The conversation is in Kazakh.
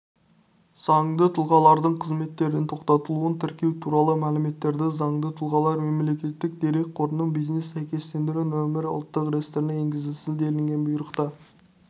заңды тұлғалардың қызметтерін тоқтатылуын тіркеу туралы мәліметтерді заңды тұлғалар мемлекеттік дерек қорының бизнес сәйкестендіру нөмірі ұлттық реестіріне енгізілсін делінген бұйрықта